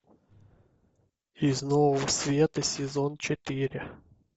из нового света сезон четыре